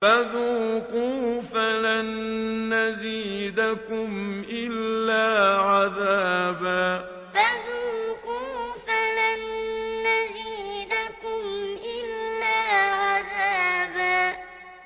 فَذُوقُوا فَلَن نَّزِيدَكُمْ إِلَّا عَذَابًا فَذُوقُوا فَلَن نَّزِيدَكُمْ إِلَّا عَذَابًا